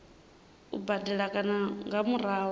u badela kana nga murahu